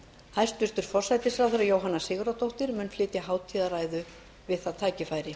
hæstvirtur forsætisráðherra jóhanna sigurðardóttir mun flytja hátíðarræðu við það tækifæri